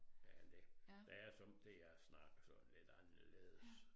Ja det det er som det jeg snakker sådan lidt anderledes